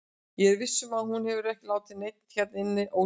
Ég er viss um að hún hefur ekki látið neinn hérna inni ósnortinn.